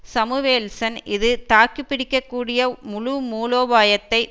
Samuelson இது தாக்கிப்பிடிக்கக் கூடிய முழு மூலோபாயத்தை